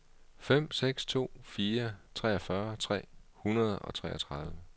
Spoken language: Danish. fem seks to fire treogfyrre tre hundrede og treogtredive